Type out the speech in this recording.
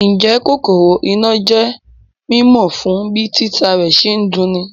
Ǹjẹ́ kòkòrò iná jẹ́ mímọ̀ fún bí títa rẹ̀ ṣe ń dun'ni